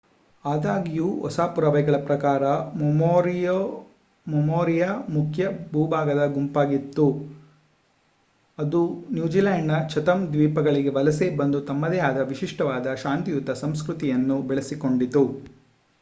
ಆದಾಗ್ಯೂ ಹೊಸ ಪುರಾವೆಗಳ ಪ್ರಕಾರ ಮೊರಿಯೊರಿಯು ಮಾವೋರಿಯ ಮುಖ್ಯ ಭೂಭಾಗದ ಗುಂಪಾಗಿತ್ತು ಅದು ನ್ಯೂಜಿಲೆಂಡ್‌ನಿಂದ ಚಥಮ್ ದ್ವೀಪಗಳಿಗೆ ವಲಸೆ ಬಂದು ತಮ್ಮದೇ ಆದ ವಿಶಿಷ್ಟವಾದ ಶಾಂತಿಯುತ ಸಂಸ್ಕೃತಿಯನ್ನು ಬೆಳೆಸಿಕೊಂಡಿತು